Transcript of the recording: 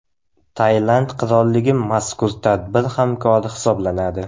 Tailand qirolligi mazkur tadbir hamkori hisoblanadi.